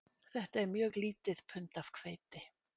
Þetta er mjög lítið pund af hveiti